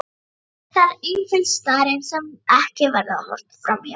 Það er einföld staðreynd sem ekki verður horft fram hjá.